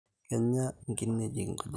Kenya nkimejik nkujit